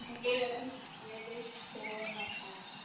একেই বলা হয়েছে greatest show on earth